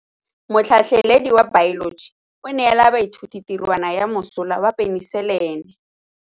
Motlhatlhaledi wa baeloji o neela baithuti tirwana ya mosola wa peniselene.